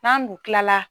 N'an du kilala